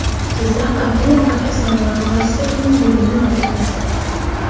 Jizzax Organic agrosanoat klasterining buguni va ertasi.